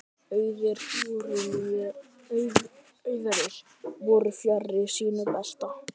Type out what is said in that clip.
Aðrir voru fjarri sínu besta.